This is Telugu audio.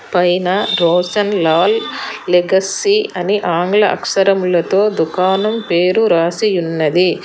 పైన రోశన్ లాల్ లెగసి అని ఆంగ్ల అక్షరాలతో దుకాణం పేరు రాసి ఉన్నది.